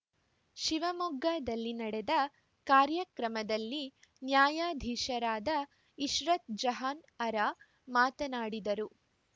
ಶಿವಮೊಗ್ಗದಲ್ಲಿ ನಡೆದ ಕಾರ್ಯಕ್ರಮದಲ್ಲಿ ನ್ಯಾಯಾಧೀಶರಾದ ಇಶ್ರತ್‌ ಜಹಾನ್‌ಅರಾ ಮಾತನಾಡಿದರು